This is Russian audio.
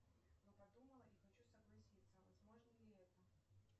я подумала и хочу согласиться возможно ли это